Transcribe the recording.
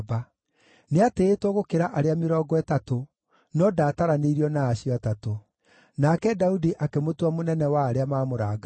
Nĩatĩĩtwo gũkĩra arĩa Mĩrongo Ĩtatũ, no ndaataranĩirio na acio Atatũ. Nake Daudi akĩmũtua mũnene wa arĩa maamũrangagĩra.